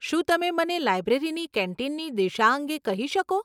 શું તમે મને લાઈબ્રેરીની કેન્ટીનની દિશા અંગે કહી શકો?